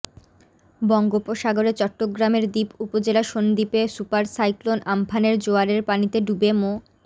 বঙ্গোপসাগরে চট্টগ্রামের দ্বীপ উপজেলা সন্দ্বীপে সুপার সাইক্লোন আম্ফানের জোয়ারের পানিতে ডুবে মো